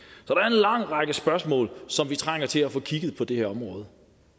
lang række spørgsmål som vi trænger til at få kigget på på det her område